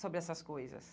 sobre essas coisas.